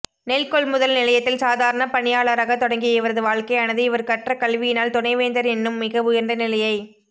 நெல்கொள்முதல் நிலையத்தில் சாதாரண பணியாளராக தொடங்கிய இவரது வாழ்க்கையானது இவர் கற்ற கல்வியினால் துணைவேந்தர் என்னும் மிக உயர்ந்த நிலையை